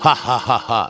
Ha-ha-ha,